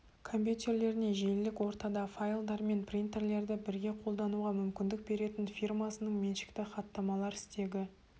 компьютерлеріне желілік ортада файлдар мен принтерлерді бірге қолдануға мүмкүндік беретін фирмасының меншікті хаттамалар стегі